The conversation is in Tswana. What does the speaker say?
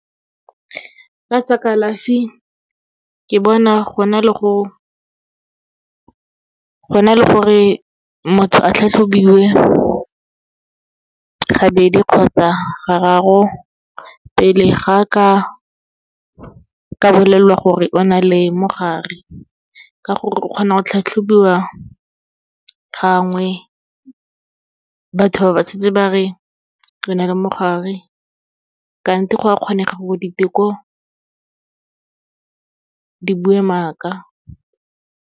Ka tsa kalafi, ke bona go na le gore motho a tlhatlhobiwe gabedi kgotsa gararo, pele ga ka bolelelwa gore o na le mogare. Ka gore o kgona go tlhatlhobiwa gangwe, batho ba ba setse ba re o na le mogare, kante go a kgonega gore diteko di bue maka.